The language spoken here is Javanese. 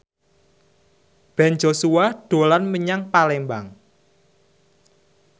Ben Joshua dolan menyang Palembang